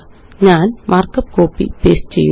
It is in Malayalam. ഞാന് മാര്ക്കപ്പ് കോപ്പി പേസ്റ്റ് ചെയ്യുന്നു